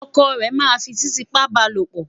ọkọ rè má n fí titiipa balopo